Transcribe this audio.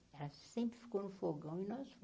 Ela sempre ficou no fogão e nós